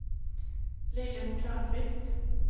Lillemor Törnqvist